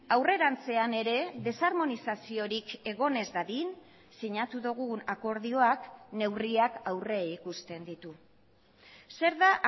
aurrerantzean ere desharmonizaziorik egon ez dadin sinatu dugun akordioak neurriak aurreikusten ditu zer da